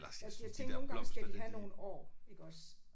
Ja jeg tænker nogle gange skal de have nogle år iggås